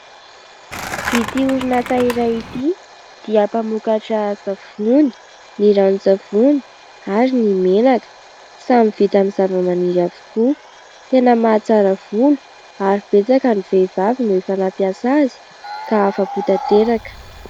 Ity orin' asa iray ity dia mpamokatra : savony, ny ranon-tsavony ary ny menaka ; samy vita amin' ny zavamaniry avokoa ; tena mahatsara volo ary betsaka ny vehivavy no efa nampiasa azy ka afa-po tanteraka.